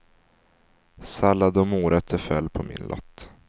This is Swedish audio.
Sallad och morötter föll på min lott.